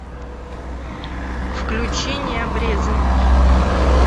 включи необрезанный